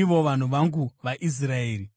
ivo vanhu vangu vaIsraeri.